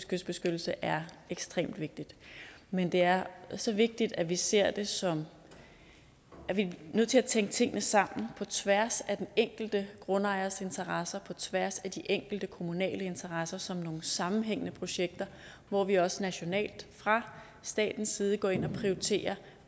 kystbeskyttelse er ekstremt vigtigt men det er så vigtigt at vi ser det som at vi er nødt til at tænke tingene sammen på tværs af de enkelte grundejeres interesser på tværs af de enkelte kommunale interesser og som nogle sammenhængende projekter hvor vi også nationalt fra statens side går ind og prioriterer